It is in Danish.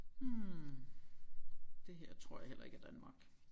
Hm det her tror jeg heller ikke er Danmark